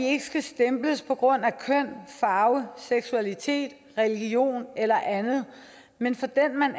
ikke skal stemples på grund af køn farve seksualitet religion eller andet men for den man